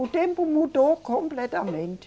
O tempo mudou completamente.